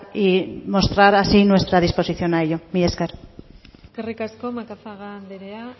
y mostrar así nuestra disposición a ello mila esker eskerrik asko macazaga anderea